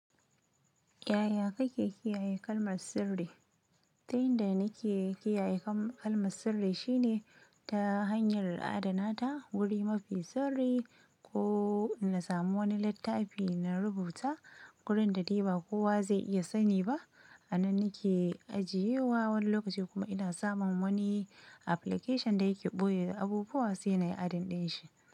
Yaya kake kiyaye kalmar sirri? Ta yanda nake kiyaye kalmar sirri shine ta hanyar adana ta wuri mafi sirri ko na samu wani littafi na rubuta gurin da dai ba kowa zai iya sani ba. A nan nake ajiye wa wani lokaci kuma ina samun wani application da yake ɓoye abubuwa sai nayi adadin shi.